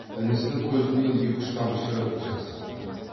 інісінің көзінен екі үш тамшы жас ақты